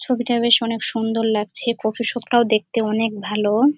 ছবিটা বেশ অনেক সুন্দর লাগছে কফি শপ -টাও দেখতে অনেক ভালো-ও।